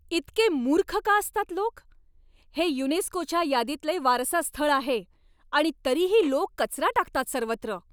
इतके मूर्ख का असतात लोक? हे युनेस्कोच्या यादीतले वारसा स्थळ आहे आणि तरीही लोक कचरा टाकतात सर्वत्र.